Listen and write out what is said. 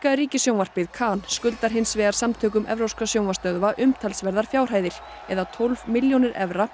ríkissjónvarpið kan skuldar hins vegar samtökum evrópskra sjónvarpsstöðva umtalsverðar fjárhæðir eða tólf milljónir evra